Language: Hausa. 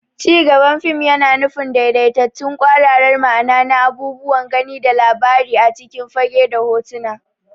Cigaban fim yana nufin daidaitattun kwararar ma'ana na abubuwan gani da labari a cikin fage da hotuna.